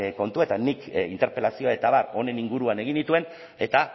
kontuetan nik interpelazioa eta abar honen inguruan egin nituen eta